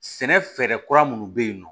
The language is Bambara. Sɛnɛ fɛɛrɛ kura minnu bɛ yen nɔ